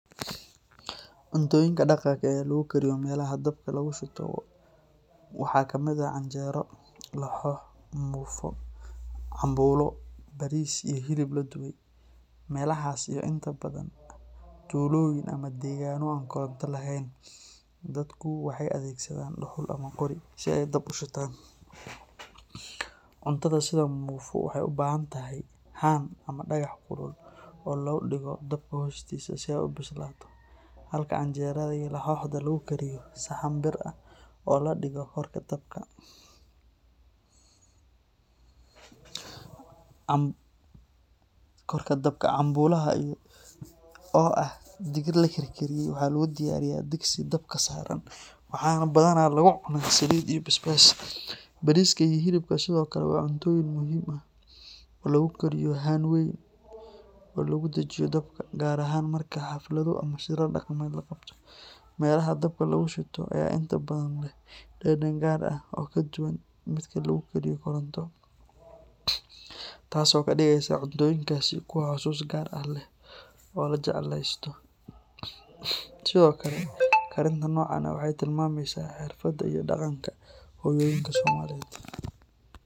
Cuntooyinka dhaqanka ah ee lagu kariyo meelaha dabka lagu shito waxaa kamid ah canjeero, laxoox, muufo, cambuulo, bariis iyo hilib la dubay. Meelahaas oo inta badan ah tuulooyin ama deegaano aan koronto lahayn, dadku waxay adeegsadaan dhuxul ama qori si ay dab u shitaan. Cuntada sida muufo waxay u baahan tahay haan ama dhagax kulul oo lagu dhigo dabka hoostiisa si ay u bislaato, halka canjeerada iyo laxooxda lagu kariyo saxan bir ah oo la dhigo korka dabka. Cambuulaha oo ah digir la karkariyey waxa lagu diyaariyaa digsi dabka saaran, waxaana badanaa lagu cunaa saliid iyo basbaas. Bariiska iyo hilibka sidoo kale waa cuntooyin muhiim ah oo lagu kariyo haan weyn oo lagu dhajiyo dabka, gaar ahaan marka xaflado ama shirar dhaqameed la qabto. Meelaha dabka lagu shito ayaa inta badan leh dhadhan gaar ah oo ka duwan midka lagu kariyo koronto, taasoo ka dhigeysa cuntooyinkaasi kuwo xusuus gaar ah leh oo la jeclaysto. Sidoo kale, karinta noocan ah waxay tilmaamaysaa xirfadda iyo dhaqanka hooyooyinka Soomaaliyeed.